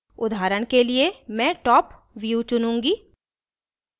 उदाहरण के लिए मैं top view चुनुँगी